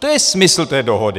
To je smysl té dohody.